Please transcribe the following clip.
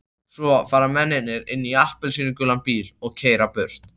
Svo fara mennirnir inn í appelsínugulan bíl og keyra burtu.